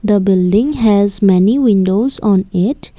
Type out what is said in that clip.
The building has many windows on it.